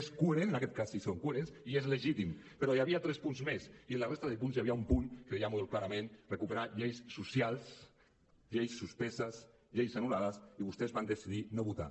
és coherent en aquest cas sí són coherents i és legítim però hi havia tres punts més i en la resta de punts hi havia un punt que deia molt clarament recuperar lleis socials lleis suspeses lleis anul·lades i vostès van decidir no votar